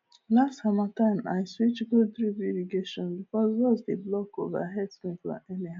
last harmattan i switch go drip irrigation because dust dey block overhead sprinkler